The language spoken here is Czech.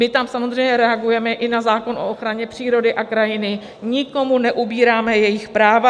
My tam samozřejmě reagujeme i na zákon o ochraně přírody a krajiny, nikomu neubíráme jejich práva.